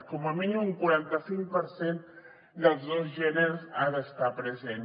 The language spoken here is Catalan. com a mínim un quaranta cinc per cent dels dos gèneres ha d’estar present